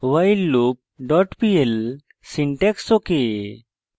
whileloop pl syntax ok